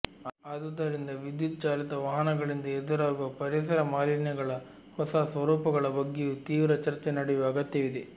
ಆದುದರಿಂದ ವಿದ್ಯುತ್ ಚಾಲಿತ ವಾಹನಗಳಿಂದ ಎದುರಾಗುವ ಪರಿಸರ ಮಾಲಿನ್ಯಗಳ ಹೊಸ ಸ್ವರೂಪಗಳ ಬಗ್ಗೆಯೂ ತೀವ್ರ ಚರ್ಚೆ ನಡೆಯುವ ಅಗತ್ಯವಿದೆ